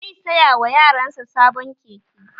Zai saya wa yaran sa sabon keke